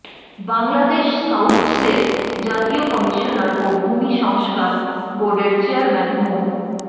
বাংলাদেশ স্কাউটসের জাতীয় কমিশনার ও ভূমি সংস্কার বোর্ডের চেয়ারম্যান মো